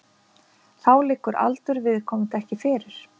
Þá liggur aldur viðkomandi ekki fyrir